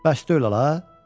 Bəs deyil ala.